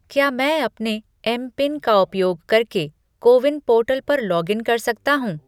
क्या मैं अपने एमपिन का उपयोग करके कोविन पोर्टल पर लॉगिन कर सकता हूँ?